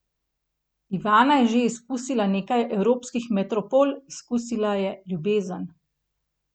Ivana je že izkusila nekaj evropskih metropol, izkusila je ljubezen.